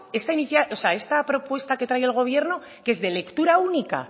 esta inicia o sea esta propuesta que trae el gobierno qué es de lectura única